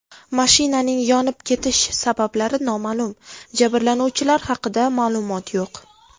Mashinaning yonib ketish sabablari noma’lum, jabrlanuvchilar haqida ma’lumot yo‘q.